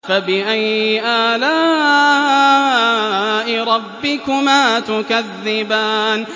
فَبِأَيِّ آلَاءِ رَبِّكُمَا تُكَذِّبَانِ